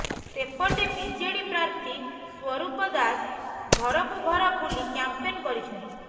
ସେପଟେ ବିଜେଡି ପ୍ରାର୍ଥୀ ସ୍ବରୂପ ଦାସ ଘରକୁ ଘର ବୁଲି କ୍ୟାମ୍ପେନ୍ କରିଛନ୍ତି